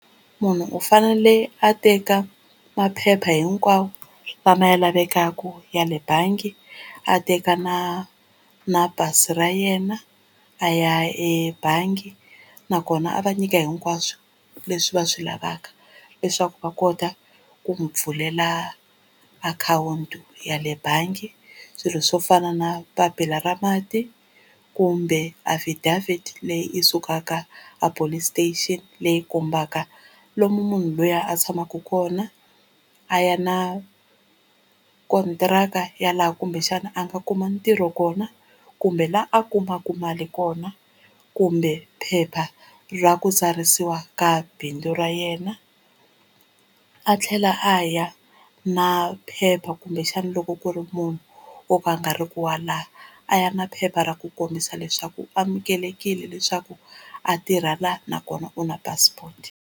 Munhu u fanele a teka maphepha hinkwawo lama ya lavekaku ya le bangi a teka na na pasi ra yena a ya ebangi, nakona a va nyika hinkwaswo leswi va swi lavaka leswaku va kota ku n'wu pfulela akhawunti ya le bangi, swilo swo fana na papila ra mati kumbe affidavit leyi i sukaka a police station leyi kombaka lomu munhu luya a tshamaka kona, a ya na kontiraka ya laha kumbexana a nga kuma ntirho kona kumbe laha a kumaka mali kona kumbe phepha ra ku tsarisiwa ka bindzu ra yena. A tlhela a ya na phepha kumbexana loko ku ri munhu wo ka a nga riki wa laha a ya na phepha ra ku kombisa leswaku u amukelekile leswaku a tirha la nakona u na passport.